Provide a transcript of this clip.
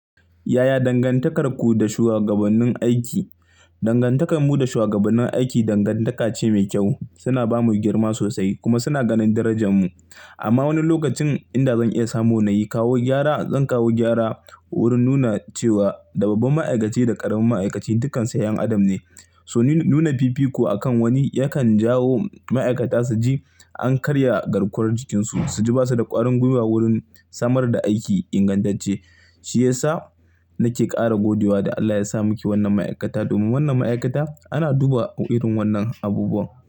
Yaya dangantakarku da shuwagabannin aiki? Dangantakar mu da shuwagabannin aiki dangantaka ce mai kyau. Suna ba mu girma sosai kuma suna ganin darajan mu. Amma wani lokacin inda zan iya samu na yi kawo gyara, zan kawo gyara wurin nuna cewa da babban ma'aikaci da ƙaramin ma'aikaci dukkansu 'yan adam ne. To ni nuna fifiko akan wani yakan jawo ma'aikata su ji an karya garkuwar jikinsu. Su ji ba su da ƙwarin gwiwa wurin samar da aiki ingantacce. Shi ya sa nake ƙara godiwa da Allah ya sa muke wannan ma'aikata domin wannan ma'aikata ana duba irin wannan abubuwan.